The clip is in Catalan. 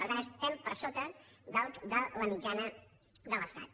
per tant estem per sota de la mitjana de l’estat